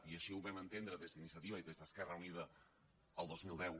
i així ho vam entendre des d’iniciativa i des d’esquerra unida el dos mil deu